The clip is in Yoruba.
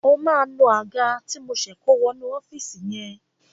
O máa nu Àga ti mo ṣe kó wọ inú ọ́fíìsì yẹn.